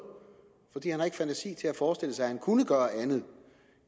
fordi han ikke har fantasi til at forestille sig at han kunne gøre andet